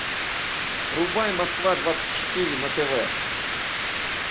врубай москва двадцать четыре на тв